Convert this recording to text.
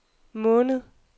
måned